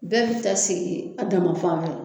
Bɛɛ bi taa sigi a dama fan fɛ